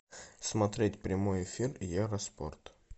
смотреть прямой эфир евроспорт